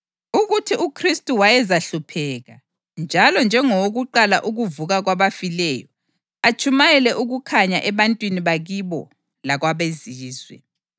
ukuthi uKhristu wayezahlupheka, njalo njengowokuqala ukuvuka kwabafileyo, atshumayele ukukhanya ebantwini bakibo lakwabeZizwe.”